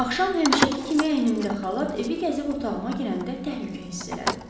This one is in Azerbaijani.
Axşam həmişəki kimi əynimdə xalat evi gəzib otağıma girəndə təhlükə hiss elədim.